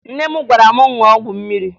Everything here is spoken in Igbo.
Nne m gwara m ṅụọ ọgwụ mmiri